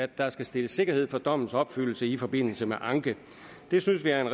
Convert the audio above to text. der skal stilles sikkerhed for dommens opfyldelse i forbindelse med anke vi synes at en